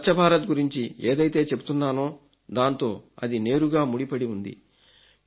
నేను స్వచ్ఛ భారత్ గురించి ఏదైతే చెబుతున్నానో దాంతో అది నేరుగా ముడిపడి ఉంది